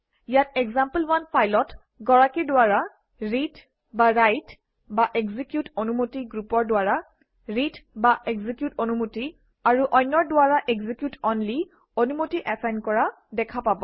ইয়াত এক্সাম্পল1 ফাইলত গৰাকীৰ দ্বাৰা ৰিডৰাইটএক্সিকিউট অনুমতি গ্ৰুপৰ দ্বাৰা ৰিডএক্সিকিউট অনুমতি আৰু অন্যৰ দ্বাৰা এক্সিকিউট অনলি অনুমতি এচাইন কৰা দেখা পাব